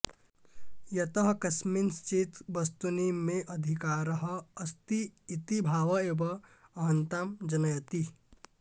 यतः कस्मिंश्चित् वस्तुनि मेऽधिकारः अस्ति इति भाव एव अहन्तां जनयति